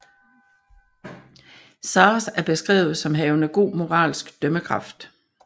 Sazh er beskrevet som havende god moralsk dømmekraft